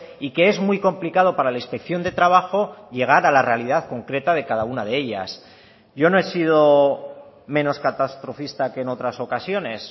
y que es muy complicado para la inspección de trabajo llegar a la realidad concreta de cada una de ellas yo no he sido menos catastrofista que en otras ocasiones